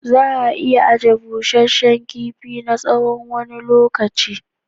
Za'a iya ajiye bushe shin kifi na tsawon wani lokaci.